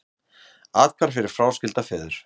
Athvarf fyrir fráskilda feður